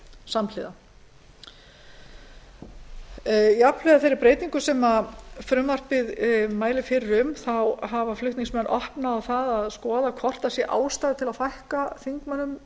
samhliða jafnhliða þeirri breytingu sem frumvarpið mælir fyrir um þá hafa flutningsmenn opnað á það að skoða hvort ástæða sé til að fækka þingmönnum